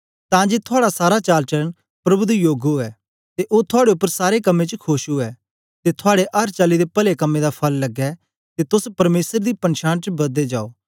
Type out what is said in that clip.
तां जे थुआड़ा सारा चालचलन प्रभु दे योग उवै ते ओ थुआड़े उपर सारें कम्में च खोश उवै ते थुआड़े अर चाली दे पले कम्में दा फल लगे ते तोस परमेसर दी पंछान च बददे जाओ